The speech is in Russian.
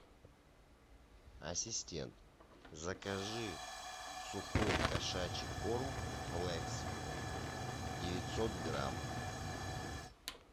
ассистент закажи сухой кошачий корм флекс девятьсот грамм